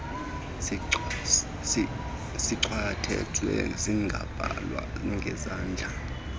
sichwethezwe singabhalwa ngesandla